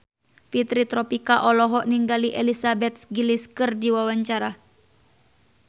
Fitri Tropika olohok ningali Elizabeth Gillies keur diwawancara